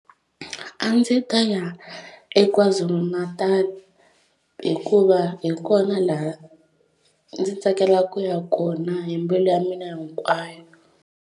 A ndzi ta ya eKwa-Zulu Natal hikuva hi kona laha ndzi tsakelaka ku ya kona hi mbilu ya mina hinkwayo.